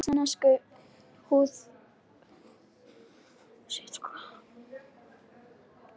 Svissnesku feðgarnir heilir á húfi